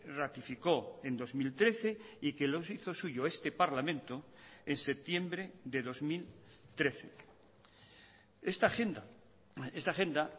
ratificó en dos mil trece y que lo hizo suyo este parlamento en septiembre de dos mil trece esta agenda esta agenda